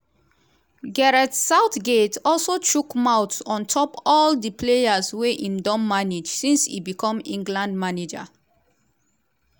gareth southgate also chook mouth on top all di players wey im don manage since e become england manager.